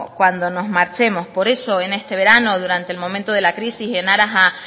cuando nos marchemos por eso en este verano durante el momento de la crisis en aras a